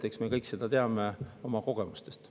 Eks me kõik teame seda oma kogemustest.